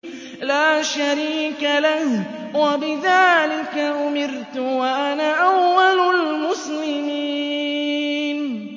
لَا شَرِيكَ لَهُ ۖ وَبِذَٰلِكَ أُمِرْتُ وَأَنَا أَوَّلُ الْمُسْلِمِينَ